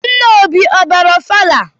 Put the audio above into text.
Nna Obi ọ bịara ọfala?